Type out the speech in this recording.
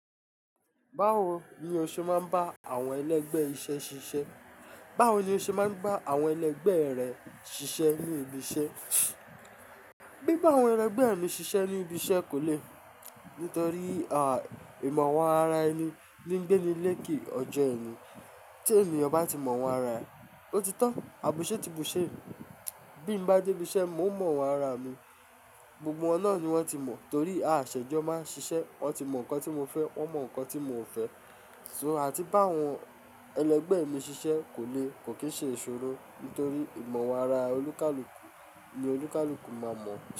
Báwo ni o ṣe máa ń bá àwọn ẹlẹgbẹ́ iṣẹ́ ṣiṣẹ́? Báwo ni o ṣe máa ń bá àwọn ẹlẹgbẹ́ rẹ ṣiṣẹ́ ní ibi iṣẹ́? Bí bá àwọn ẹlẹgbẹ́ mi ṣiṣẹ́ ní ibi iṣẹ́ kò le, nítorí, à, ìmọ̀ àwọn ara ẹni ní ń gbé ní ilé ke ọjọ́ ẹni. Tí ènìyàn bá ti mọ wọn ara ẹ, ó ti tàn, àbùse ti bùṣe. Bí mo bá dé ibi iṣẹ́, mo mọ wọn ara mi, gbogbo wọn náà ni wọ́n ti mọ̀. Torí, à, ṣẹ́jọ máa ń ṣiṣẹ́, wọ́n ti mọ nǹkan tí mo fẹ́, wọ́n mọ nǹkan tí mi o fẹ́. Àti bá àwọn ẹlẹgbẹ́ mi ṣiṣẹ́ kò le, kò kì í ṣe ìṣòro, nítorí ìmọ̀ wọn ara olúkálùkù ni olúkálùkù máa mọ̀.